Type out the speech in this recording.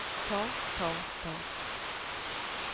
ta ta ta